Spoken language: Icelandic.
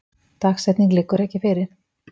Dagsetning liggur ekki fyrir